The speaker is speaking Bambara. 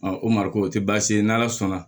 o mariku o tɛ baasi ye n'ala sɔnna